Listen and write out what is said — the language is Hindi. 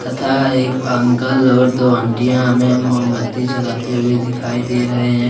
तथा एक अंकल और दो आंटीयां हमें मोमबत्ती जलाते हुए दिखाई दे रहे हैं।